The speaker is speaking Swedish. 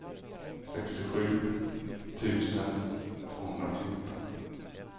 sextiosju tusen tvåhundrafjorton